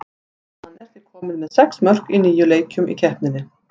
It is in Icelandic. Hann er því kominn með sex mörk í níu leikjum í keppninni.